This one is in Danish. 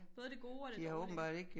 Både det gode og det dårlige